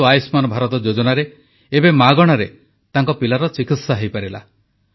କିନ୍ତୁ ଆୟୁଷ୍ମାନ ଭାରତ ଯୋଜନାରେ ଏବେ ମାଗଣାରେ ତାଙ୍କ ପିଲାର ଚିକିତ୍ସା ହୋଇପାରିଲା